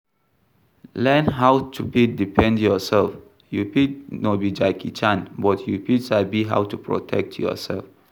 Learn how to fit defend yourself, you fit no be Jackie Chan but you fit sabi how to protect yourself